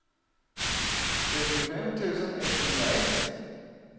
trettiofem tusen etthundraett